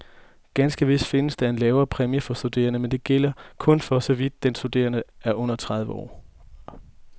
Ganske vist findes der en lavere præmie for studerende, men denne gælder kun, for så vidt den studerende er under tredive år.